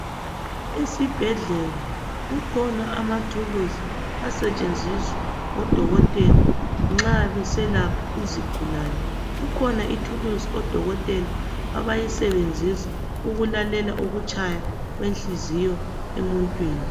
esibhedlela kukhona amathulusi asetshenziswa ngo dokotela nxa beselapha izigulane kukhona ithulusi odokotela abayisebenzisa ukulalela ukutshaya kwenhliziyo emuntwini